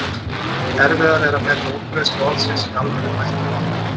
Erfiðara er að meta útbreiðslu orðsins í almennu mæltu máli.